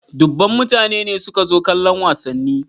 Dubban mutane ne suka zo kallon wasannin.